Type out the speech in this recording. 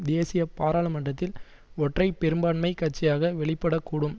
தேசிய பாராளுமன்றத்தில் ஒற்றை பெரும்பான்மை கட்சியாக வெளிப்படக்கூடும்